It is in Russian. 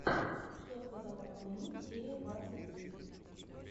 что сказал покойник серия двадцать три